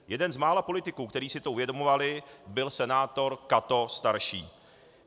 Jeden z mála politiků, kteří si to uvědomovali, byl senátor Cato starší.